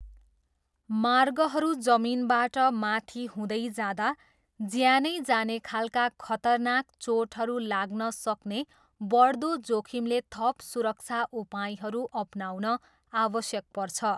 मार्गहरू जमिनबाट माथि हुँदै जाँदा, ज्यानै जाने खालका खतरनाक चोटहरू लाग्न सक्ने बढ्दो जोखिमले थप सुरक्षा उपायहरू अपनाउन आवश्यक पर्छ।